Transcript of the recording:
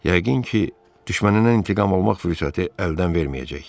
Yəqin ki, düşmənindən intiqam almaq fürsəti əldən verməyəcək.